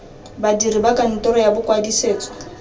badiri ba kantoro ya bokwadisetso